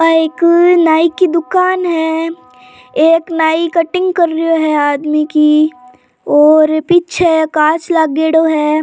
आ एक नाइ की दुकान है एक नाइ कटिंग कर रहो हो है आदमी की और पीछे कांच लागेडॉ है।